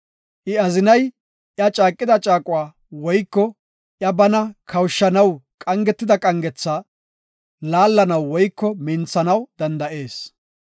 I azinay iya caaqida caaquwa woyko iya bana kawushanaw qangetida qangetha laallanaw woyko minthanaw danda7ees.